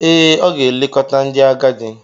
Ee, ọ ga-elekọta ndị agadi.